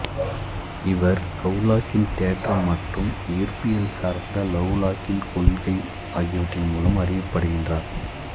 இவர் லவ்லாக்கின் தேற்றம் மற்றும் ஈர்ப்பியல் சார்ந்த லவ்லாக்கின் கொள்கை ஆகியவற்றின் மூலம் அறியப்படுகிறார்